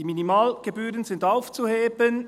«Die Minimalgebühren sind aufzuheben.»